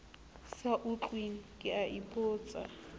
sa utlweng ke a ipotsa